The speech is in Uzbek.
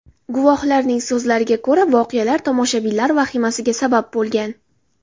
Guvohlarning so‘lariga ko‘ra, voqealar tomoshabinlar vahimasiga sabab bo‘lgan.